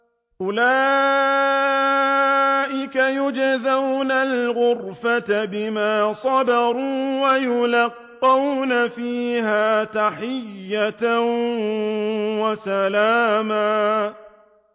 أُولَٰئِكَ يُجْزَوْنَ الْغُرْفَةَ بِمَا صَبَرُوا وَيُلَقَّوْنَ فِيهَا تَحِيَّةً وَسَلَامًا